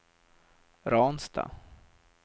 Ransta